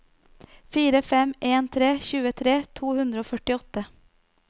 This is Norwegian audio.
fire fem en tre tjuetre to hundre og førtiåtte